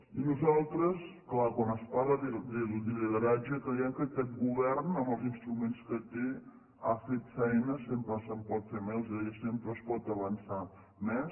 i nosaltres clar quan es parla de lideratge creiem que aquest govern amb els instrument que té ha fet feina sempre se’n pot fer més els deia sempre es pot avançar més